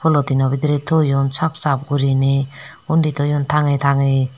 polythene no bidire toyon sap sap gurine undi toyon tange tange.